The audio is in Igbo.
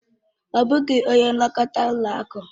Ọ bụghị onye nlekọta ụlọ akụ.